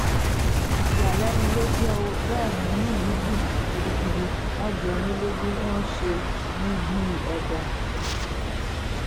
ìyàlẹ́nu ló jẹ́ ó bẹ́ẹ̀ ni inú mi dùn gidigidi wọ́n jọ mí lójú wọn ṣe mí bíi ọba